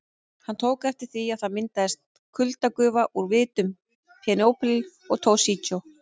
Hann tók eftir því að það myndaðist kuldagufa úr vitum Penélope og Toshizo.